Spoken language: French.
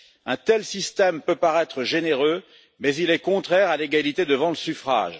Un tel système peut paraître généreux, mais il est contraire à l'égalité devant le suffrage.